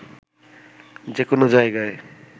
যে কোনো জায়গায়